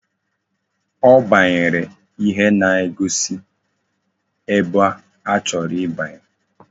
Ọ gbanyere ihe na-egosi ebe ọ chọrọ ibanye.